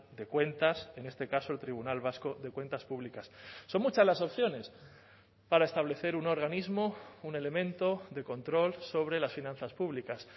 de cuentas en este caso el tribunal vasco de cuentas públicas son muchas las opciones para establecer un organismo un elemento de control sobre las finanzas públicas